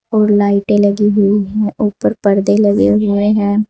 और लाइटें लगी हुई हैं ऊपर परदे लगे हुए हैं।